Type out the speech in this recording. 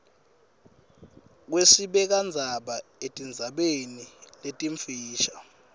kwesibekandzaba etindzabeni letimfisha